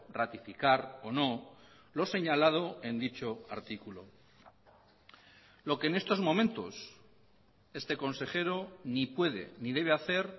ratificar o no lo señalado en dicho artículo lo que en estos momentos este consejero ni puede ni debe hacer